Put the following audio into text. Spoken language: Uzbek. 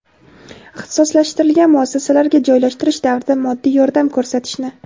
ixtisoslashtirilgan muassasalarga joylashtirish davrida moddiy yordam ko‘rsatishni;.